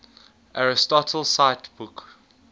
aristotle cite book